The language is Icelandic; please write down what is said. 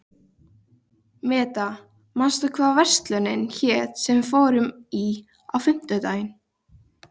Meda, manstu hvað verslunin hét sem við fórum í á fimmtudaginn?